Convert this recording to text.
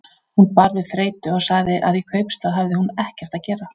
Hún bar við þreytu og sagði að í kaupstað hefði hún ekkert að gera.